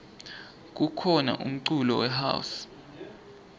kukhona umculo we house